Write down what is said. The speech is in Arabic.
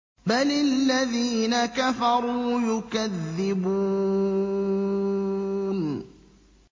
بَلِ الَّذِينَ كَفَرُوا يُكَذِّبُونَ